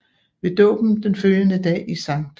Ved dåben den følgende dag i St